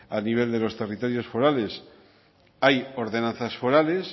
a nivel de los territorios forales hay ordenanzas forales